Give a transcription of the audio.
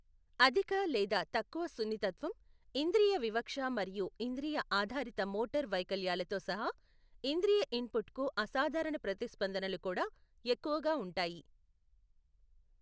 అధిక లేదా తక్కువ సున్నితత్వం, ఇంద్రియ వివక్ష మరియు ఇంద్రియ ఆధారిత మోటారు వైకల్యాలతో సహా ఇంద్రియ ఇన్పుట్కు అసాధారణ ప్రతిస్పందనలు కూడా ఎక్కువగా ఉంటాయి.